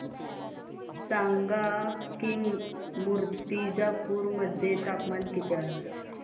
सांगा की मुर्तिजापूर मध्ये तापमान किती आहे